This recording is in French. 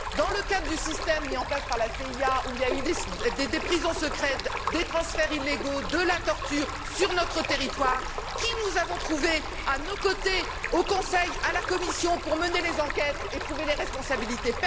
Dans le cadre du système mis en place par la CIA, où il y a eu des prisons secrètes, des transferts illégaux, de la torture, sur notre territoire, qui avons nous trouvé à nos côtés au Conseil, à la Commission, pour mener les enquêtes et trouver les responsabilités?